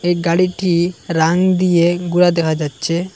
এই গাড়িটি রাং দিয়ে গুড়া দেখা যাচ্ছে।